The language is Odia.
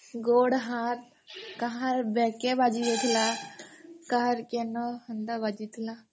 ଗୋଡ ହାତ୍ କାହାର ବ୍ଯାକ୍ କେ ବାଜି ଯାଇଥିଲା କାହାର କେ ହେନ୍ତା ବାଜିଥିଲା